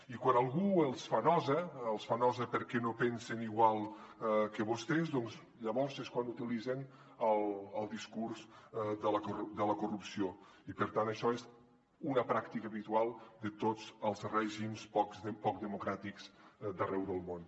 i quan algú els fa nosa els fa nosa perquè no pensen igual que vostès doncs llavors és quan utilitzen el discurs de la corrupció i per tant això és una pràctica habitual de tots els règims poc democràtics d’arreu del món